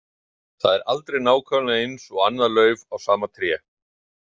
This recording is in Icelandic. Það er aldrei nákvæmlega eins og annað lauf á sama tré.